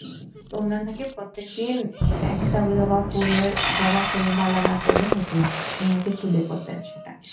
উনার নাকি প্রত্যেকদিন একটা জবা ফুলের, জবা ফুলের মালা না পড়লে হতোই না উনি নাকি চুলে পড়তেন সেটা।